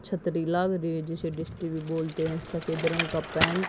छतरी लाग रही है जिसे डिश टी_वी बोलते है सफेद रंग का पेंट --